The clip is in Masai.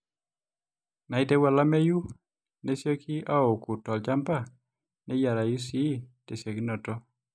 inaaiitieu olameyu nesioki aaouku tolchamba neyiarayu sii tesiokinoto